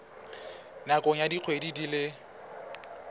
nakong ya dikgwedi di le